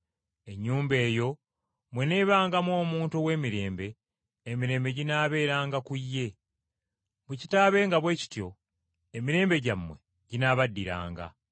Ennyumba eyo bw’eneebangamu omuntu ow’emirembe, emirembe gyammwe ginaabeeranga ku ye, bwe kitaabenga bwe kityo, emirembe gyammwe ginaabaddiranga.